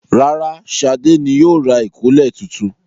Rárá, Ṣadé ni yóò ra ìkọ́lẹ̀ tuntun.